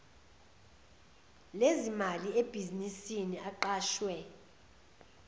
lezimali ebhizinisini aqashwe